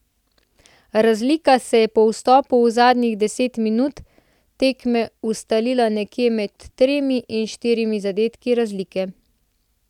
Razlika se je po vstopu v zadnjih deset minut tekme ustalila nekje med tremi in štirimi zadetki razlike.